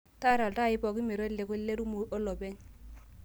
taara iltaai pooki meteleku ilerumu olopeny